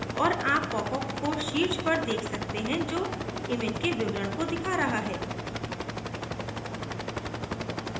और आप popup को शीर्ष पर देख सकते हैं जो image के विवरण को दिखा रहा है